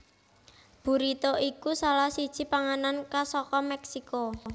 Burrito iku salah siji panganan khas saka Mèksiko